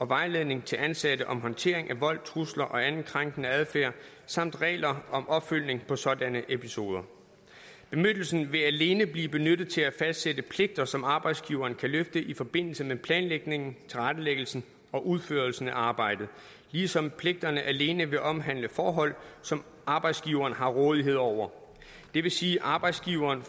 vejledning til ansatte om håndtering af vold trusler og anden krænkende adfærd samt regler om opfølgning på sådanne episoder bemyndigelsen vil alene blive benyttet til at fastsætte pligter som arbejdsgiveren kan løfte i forbindelse med planlægningen tilrettelæggelsen og udførelsen af arbejdet ligesom pligterne alene vil omhandle forhold som arbejdsgiverne har rådighed over det vil sige at arbejdsgiveren